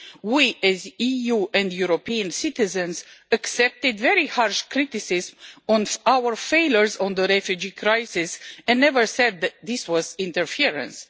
We as the EU and European citizens accepted very harsh criticism on our failures on the refugee crisis and never said that this was interference.